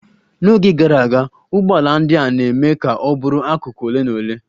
N'oge gara aga, ụgbọala ndị a na-eme ka ọ bụrụ akụkụ ole na ole.